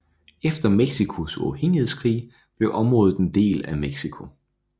Efter Mexicos uafhængighedskrig blev området en del af Mexico